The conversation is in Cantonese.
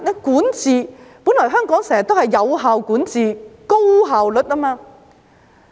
管治，本來香港經常有效管治，具高效率。